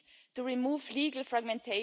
dessus de la loi européenne.